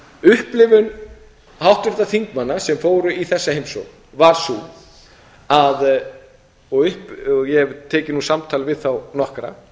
upplifum háttvirtra þingmanna sem fóru í þessa heimsókn var sú að ég hef tekið samtal við þá nokkra